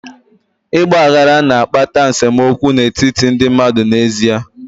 Ịgba aghara na-akpata nsemokwu n'etiti ndị mmadụ n'ezie.